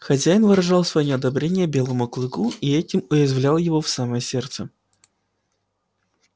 хозяин выражал своё неодобрение белому клыку и этим уязвлял его в самое сердце